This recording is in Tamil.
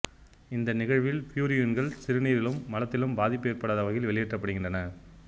இந்த நிகழ்வில் பியூரின்கள் சிறுநீரிலும் மலத்திலும் பாதிப்பு ஏற்படுத்தாத வகையில் வெளியேற்றப்படுகின்றன